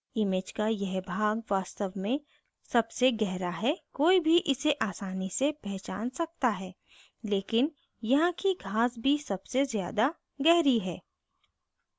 image का यह भाग वास्तव में सबसे grass है कोई भी इसे आसानी से पहचान सकता है लेकिन यहाँ की घास भी सबसे ज़्यादा गहरी है